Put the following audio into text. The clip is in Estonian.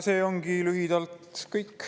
See ongi lühidalt kõik.